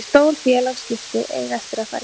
En stór félagsskipti eiga eftir að fara í gegn.